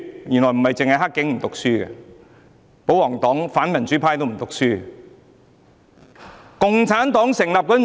原來不止是"黑警"不讀書，保皇黨及反民主派也一樣不讀書。